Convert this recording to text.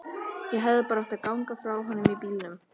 Ég hefði bara átt að ganga frá honum í bílnum.